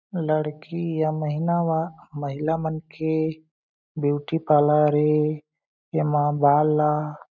लड़की या महीना म महिला मन के ब्यूटी पार्लर ए एमा बाल ला--